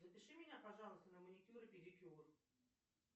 запиши меня пожалуйста на маникюр и педикюр